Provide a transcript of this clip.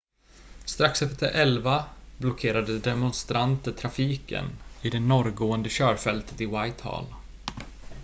strax efter 11.00 blockerade demonstranter trafiken i det norrgående körfältet i whitehall